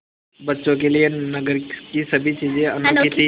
बच्चों के लिए नगर की सभी चीज़ें अनोखी थीं